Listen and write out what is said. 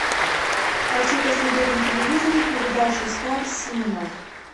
хочу посмотреть на телевизоре передачу стар синема